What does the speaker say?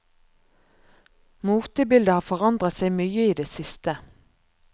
Motebildet har forandret seg mye i det siste.